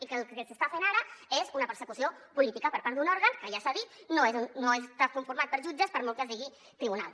i que el que s’està fent ara és una persecució política per part d’un òrgan que ja s’ha dit no està conformat per jutges per molt que es digui tribunal